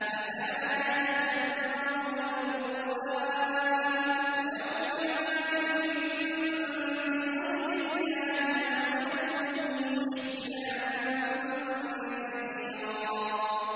أَفَلَا يَتَدَبَّرُونَ الْقُرْآنَ ۚ وَلَوْ كَانَ مِنْ عِندِ غَيْرِ اللَّهِ لَوَجَدُوا فِيهِ اخْتِلَافًا كَثِيرًا